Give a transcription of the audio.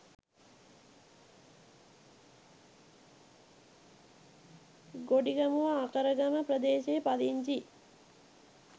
ගොඩිගමුව අකරගම ප්‍රදේශයේ පදිංචි